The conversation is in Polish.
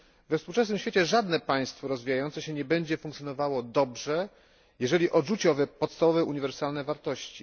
wszystkim. We współczesnym świecie żadne państwo rozwijające się nie będzie funkcjonowało dobrze, jeżeli odrzuci owe podstawowe, uniwersalne